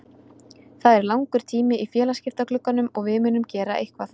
Það er langur tími í félagaskiptaglugganum og við munum gera eitthvað.